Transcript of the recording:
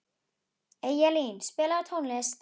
Eyjalín, spilaðu tónlist.